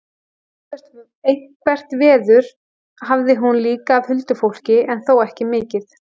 Eitthvert veður hafði hún líka af huldufólki en þó ekki mikið.